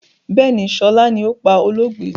Bẹ́ẹ̀ni, sọlá ni ó pá olóògbé.